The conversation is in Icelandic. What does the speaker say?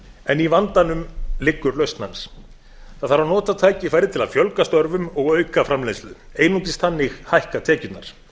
en í vandanum liggur lausn hans það þarf að nota tækifærið til að fjölga störfum og auka framleiðslu einungis þannig hækka tekjurnar